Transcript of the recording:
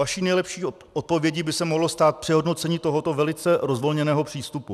Vaší nejlepší odpovědí by se mohlo stát přehodnocení tohoto velice rozvolněného přístupu.